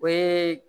O ye